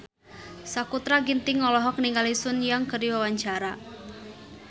Sakutra Ginting olohok ningali Sun Yang keur diwawancara